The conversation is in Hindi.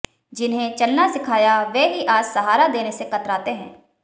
जिन्हें चलना सिखाया वे ही आज सहारा देने से कतराते हैं